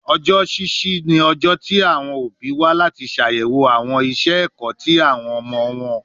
Ọjọ ṣiṣi ni ọjọ ti awọn obi wa lati ṣayẹwo awọn iṣẹ ẹkọ ti awọn ọmọ wọn